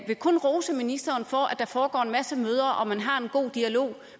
vil kun rose ministeren for at der foregår en masse møder og at man har en god dialog